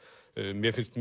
mér finnst